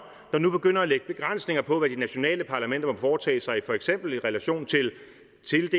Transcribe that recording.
der nu begynder at lægge begrænsninger på hvad de nationale parlamenter må foretage sig for eksempel i relation til af